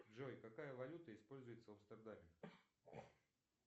джой какая валюта используется в амстердаме